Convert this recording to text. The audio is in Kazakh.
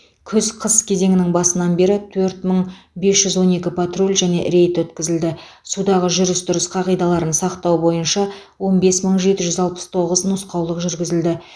күз қыс кезеңінің басынан бері төрт мың бес жүз он екі патруль және рейд өткізілді судағы жүріс тұрыс қағидаларын сақтау бойынша он бес мың жеті жүз алпыс тоғыз нұсқаулық жүргізілді